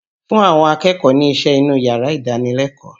Fún àwọn akẹ́kọ̀ọ́ ni iṣẹ́ inú yàrá ìdánilẹ́kọ̀ọ́!